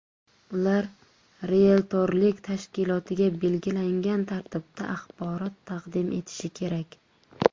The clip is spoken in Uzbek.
Ular rieltorlik tashkilotiga belgilangan tartibda axborot taqdim etishi kerak.